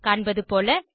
காண்பதுபோல